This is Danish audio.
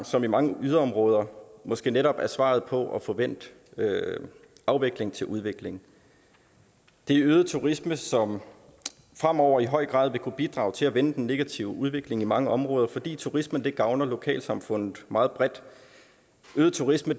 som i mange yderområder måske netop er svaret på at få vendt afvikling til udvikling det er øget turisme som fremover i høj grad vil kunne bidrage til at vende den negative udvikling i mange områder fordi turismen gavner lokalsamfundet meget bredt øget turisme